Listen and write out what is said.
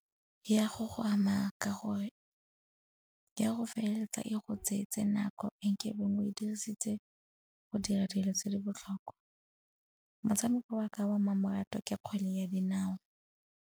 Ya go go ama ka gore ya go feleletsa e go tsetse nako e nke beng we dirisitse go dira dilo tse di botlhokwa. Motshameko wa ka wa mmamoratwa ke kgwele ya dinao.